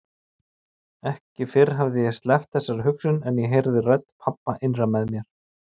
Ekki fyrr hafði ég sleppt þessari hugsun en ég heyrði rödd pabba innra með mér